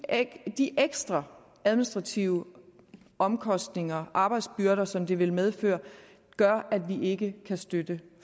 at de ekstra administrative omkostninger arbejdsbyrder som det vil medføre gør at vi ikke kan støtte